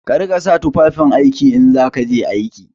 Ka riƙa sa tufafin aiki in za ka je aiki!